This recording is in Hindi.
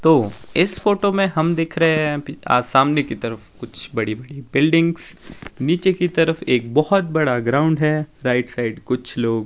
तो इस फोटो में हम दिख रहे हैं आज सामने की तरफ कुछ बड़ी बिल्डिंग्स नीचे की तरफ एक बहोत बड़ा ग्राउंड हैं राइट साइड कुछ लोग--